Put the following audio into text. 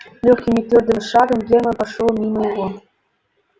лёгким и твёрдым шагом германн прошёл мимо его